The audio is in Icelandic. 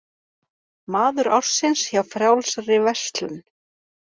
Maður ársins hjá Frjálsri verslun